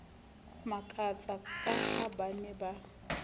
makatsa ka ha ba ne